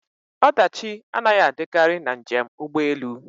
Ọdachi anaghị adịkarị na njem ụgbọ elu